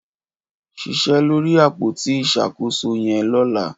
Ṣiṣẹ lóri ápótí iṣákósó yẹn llọ̀lá